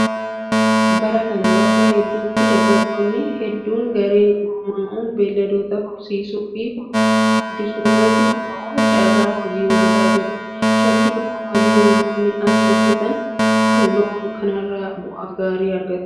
Bara kana bakka hedduutti dargaggoonni hedduun gareen gurmaa'uun beelladoota horsiisuu fi furdisuu irratti bobba'uun carraa hojii uummataa jiru. Shakkii tokko malee namoonni as hojjatan kun loon kanarraa bu'aa gaarii argatu.